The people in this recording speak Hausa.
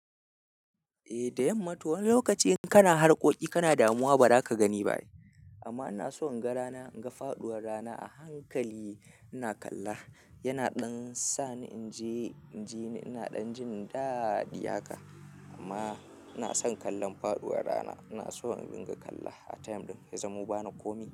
Eh da yamma to wani lokaci in kana harkoki kana damuwa bara ka gani ba. Amma ina so in ga rana, in ga faduwar rana a hankali ina kalla. Yana dan sa ni in ji, in jini ina ɗan jin daɗi haka. Amma ina son kallon faduwar rana. Ina so in ringa kalla a time ɗin ya zamo ba na komi.